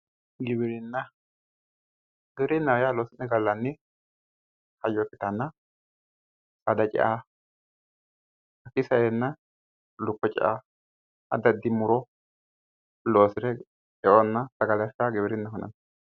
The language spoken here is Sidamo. giwirinna giwirinnaho yaa loosi'ne gallanni hayyo ikkitannna saada cea hakkiinni saeenna lukkuwa addi addi muro loosire eonna sagale afira giwirinnaho yinanni.